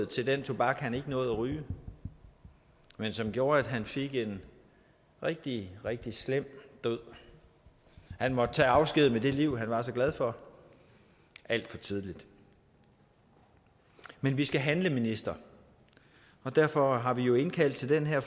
til den tobak han ikke nåede at ryge men som gjorde at han fik en rigtig rigtig slem død han måtte tage afsked med det liv han var så glad for alt for tidligt men vi skal handle ministeren og derfor har vi jo indkaldt til den her